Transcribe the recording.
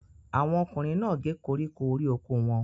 Àwọn ọkùnrin náà gé koríko orí oko wọn.